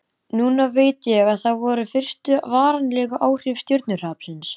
Núna veit ég að það voru fyrstu varanlegu áhrif stjörnuhrapsins.